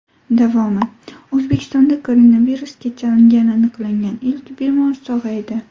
Davomi: O‘zbekistonda koronavirusga chalingani aniqlangan ilk bemor sog‘aydi.